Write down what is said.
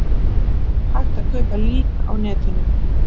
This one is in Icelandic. Hægt að kaupa lík á netinu